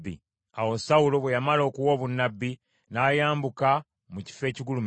Awo Sawulo bwe yamala okuwa obunnabbi, n’ayambuka mu kifo ekigulumivu.